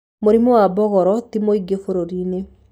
Mũrimũ wa mbogoro ti mũingĩ bũrũri-inĩ